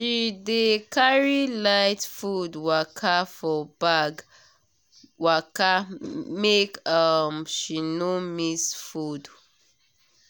she dey carry light food for bag waka make um she no miss food.